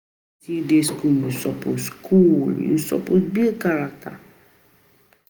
Na wen you still dey skool you suppose build character.